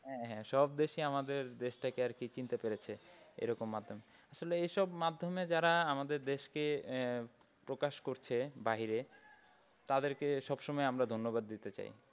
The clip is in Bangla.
হ্যাঁ হ্যাঁ সব দেশিই আমাদের দেশটাকে আর কি চিনতে পেরেছে এরকম মাধ্যমে। আসলে এসব মাধ্যমে যারা আমাদের দেশকে আহ প্রকাশ করছে বাহিরে তাদেরকে সবসময় আমরা ধন্যবাদ দিতে চাই।